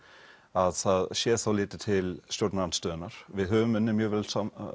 að það sé þá litið til stjórnarandstöðunnar við höfum unnið mjög vel